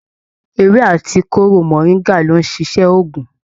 Ewé àti kóró moringa lo n ṣiṣẹ oògùn.